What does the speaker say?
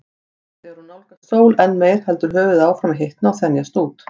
Þegar hún nálgast sól enn meir heldur höfuðið áfram að hitna og þenjast út.